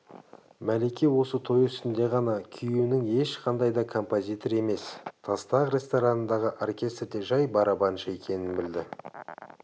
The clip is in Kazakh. мәлике осы той үстінде ғана күйеуінің ешқандай да композитор емес тастақ ресторанындағы оркестрде жай барабаншы екенін білді